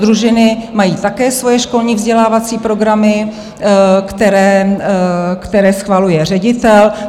Družiny mají také svoje školní vzdělávací programy, které schvaluje ředitel.